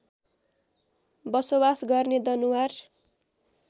बसोवास गर्ने दनुवार